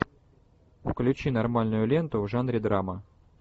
включи нормальную ленту в жанре драма